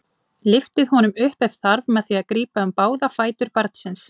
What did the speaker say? Lyftið honum upp ef þarf með því að grípa um báða fætur barnsins.